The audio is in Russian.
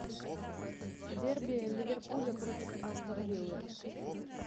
дерби ливерпуля против астон вилла